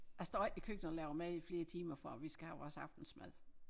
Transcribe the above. Jeg står ikke i køkkenet og laver mad i flere timer for at vi skal have vores aftensmad